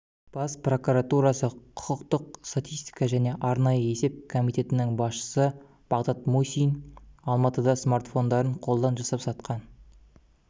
бас прокуратурасы құқықтық статистика және арнайы есеп комитетінің басшысы бағдат мусин алматыда смартфондарын қолдан жасап сатқан